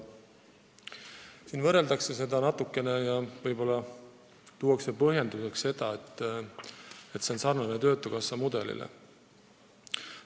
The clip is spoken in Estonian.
Siin võrreldakse seda mudelit töötukassa omaga ja tuuakse põhjenduseks, et lahendus on sarnane töötukassa mudeliga.